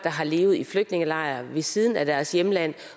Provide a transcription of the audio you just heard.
har levet i flygtningelejre ved siden af deres hjemland